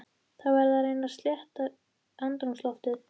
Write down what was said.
Verð að reyna að létta andrúmsloftið.